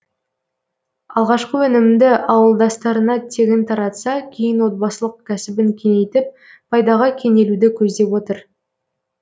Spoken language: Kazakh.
алғашқы өнімді ауылдастарына тегін таратса кейін отбасылық кәсібін кеңейтіп пайдаға кенелуді көздеп отыр